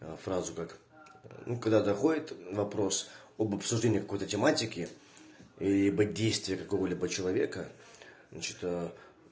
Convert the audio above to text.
фразу как ну когда доходит вопрос об обсуждении какой-то тематики либо действия какого-либо человека значит